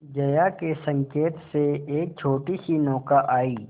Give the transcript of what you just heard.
जया के संकेत से एक छोटीसी नौका आई